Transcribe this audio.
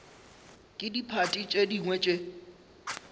ke diphathi tše dingwe tše